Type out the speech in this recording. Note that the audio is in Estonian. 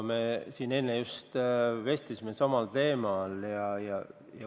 Me siin enne just vestlesime samal teemal.